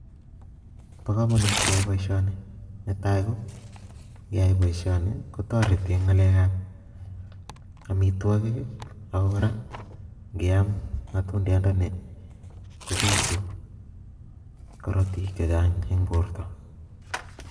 Bo komonut keyai booshoni, netai KO ngeyai boishoni kotoretii en ngalekab amitwogiik, ak ko kora Ingram motundiandani kobiitu korootik chechang en bortoo